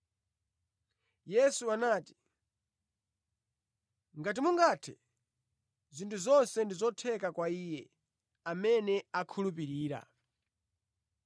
Yesu anati, “ ‘Ngati mungathe!’ Zinthu zonse ndi zotheka kwa iye amene akhulupirira.”